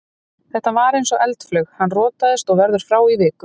Þetta var eins og eldflaug, hann rotaðist og verður frá í viku.